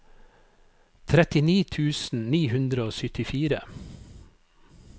trettini tusen ni hundre og syttifire